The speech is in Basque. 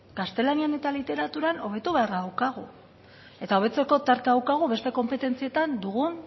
gaztelanian eta literaturan hobetu beharra daukagu eta hobetzeko tartea daukagu beste konpetentzietan dugun